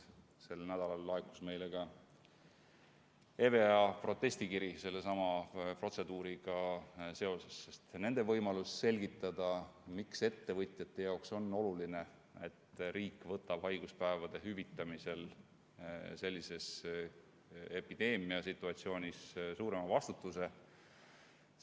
Sel nädalal laekus meile EVEA-lt protestikiri sellesama protseduuri kohta, sest ka neilt võeti võimalus selgitada, miks ettevõtjate jaoks on oluline, et riik võtaks haiguspäevade hüvitamisel sellise epideemia korral suurema vastutuse.